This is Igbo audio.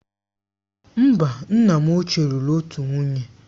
Mba, nna m ochie lụrụ otu nwunye.